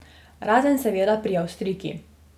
Razen seveda pri Avstrijki.